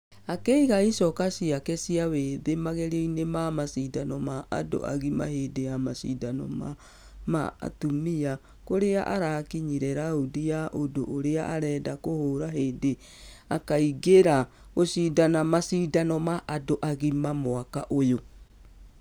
Akĩiga icoka ciake cia wĩthĩ magerionĩ ma mashidano ma andũ agima hĩndĩ ya mashidano ma....ma atumia kũrĩa arakinyire raundi ya...... ũndũ ũrĩa arenda kũhũra hĩndĩ akaingĩra gũshidana mmasgidano ma andũ agima mwaka ũyũ.